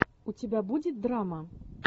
у тебя будет драма